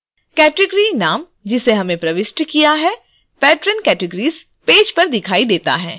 category नाम जिसे हमने प्रविष्ट किया है patron categories पेज पर दिखाई देता है